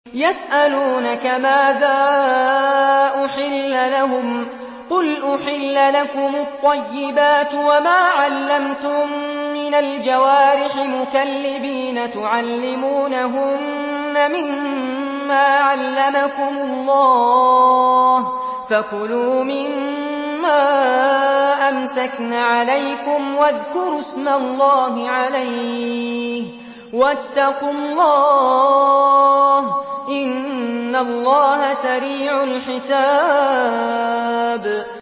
يَسْأَلُونَكَ مَاذَا أُحِلَّ لَهُمْ ۖ قُلْ أُحِلَّ لَكُمُ الطَّيِّبَاتُ ۙ وَمَا عَلَّمْتُم مِّنَ الْجَوَارِحِ مُكَلِّبِينَ تُعَلِّمُونَهُنَّ مِمَّا عَلَّمَكُمُ اللَّهُ ۖ فَكُلُوا مِمَّا أَمْسَكْنَ عَلَيْكُمْ وَاذْكُرُوا اسْمَ اللَّهِ عَلَيْهِ ۖ وَاتَّقُوا اللَّهَ ۚ إِنَّ اللَّهَ سَرِيعُ الْحِسَابِ